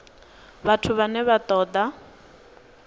vhathu vhane vha ṱo ḓa